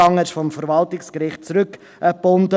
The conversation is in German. Er wurde vom Verwaltungsgericht zurückgebunden.